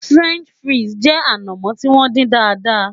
French fries jẹ anamo ti won din daadaa